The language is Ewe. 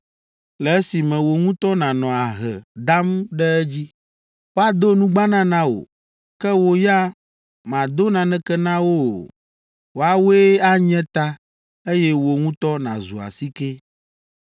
le esime wò ŋutɔ nànɔ ahe dam ɖe edzi. Woado nugbana na wò, ke wò ya màdo naneke na wo o! Woawoe anye ta, eye wò ŋutɔ nàzu asike!